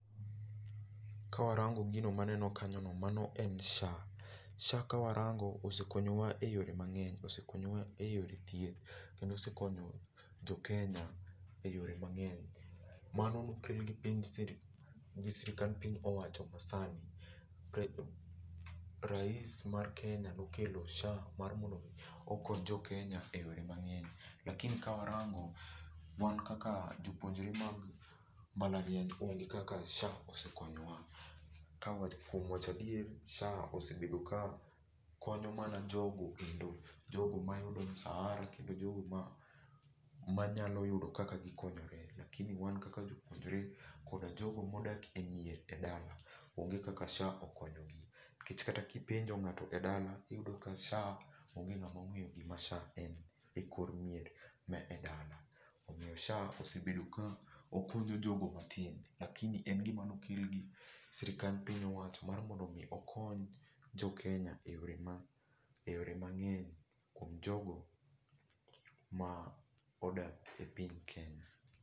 Ka warango gino maneno kanyo no, mano en SHA. SHA ka warango osekonyo wa e yore mang'eny. Osekonyo wa e yore thieth, kendo osekonyo joKenya e yore mang'eny. Mano nokel gi pinyjsirkal, gi sirkand piny owacho ma sani. rais mar Kenya nokelo SHA mar mondo mi okony jokenya e yore mang'eny. Lakini ka warango, wan kaka jopuonjre mag mbalariany onge kaka SHA osekonyo wa. Kuom wacho adier, SHA osebedo ka konyo mana jogo endo jogo ma yudo msharaha kendo jogo manyalo yudo kaka gikonyore. [csLakini wan kaka jopuonjore, koda jogo modak e mier e dala, onge kaka SHA okonyo gi. Nikech kata kipenjo ng'ato e dala iyudo ka SHA onge ng'ama ong'eyo gima SHA en e kor mier ma e dala. Omiyo SHA osebedo ka okonyo jogo matin. Lakini en gima nokel gi sirkand piny owacho mar mondo okony jokenya e yore ma, e yore mang'eny kuom jogo ma odak e piny Kenya.